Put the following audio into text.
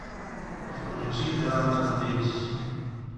включи драм энд бэйс